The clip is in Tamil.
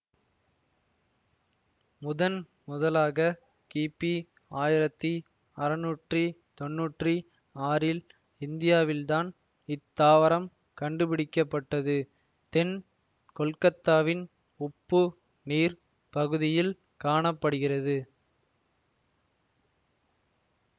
முதன் முதலாக கிபி ஆயிரத்தி அறநூற்றி தொன்னூற்றி ஆறில் இந்தியாவில்தான் இத்தாவரம் கண்டுபிடிக்கப்பட்டதுதென் கொல்கத்தாவின் உப்பு நீர் பகுதியில் காண படுகிறது